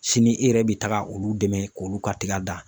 Sini e yɛrɛ bi taga olu dɛmɛ k'olu ka tiga dan